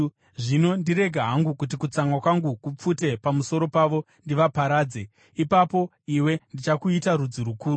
Zvino ndirege hangu kuti kutsamwa kwangu kupfute pamusoro pavo ndivaparadze. Ipapo iwe ndichakuita rudzi rukuru.”